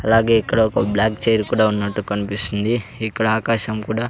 అలాగే ఇక్కడ ఒక బ్లాక్ చైర్ కూడా ఉన్నట్టు కన్పిస్తుంది ఇక్కడ ఆకాశం కూడా--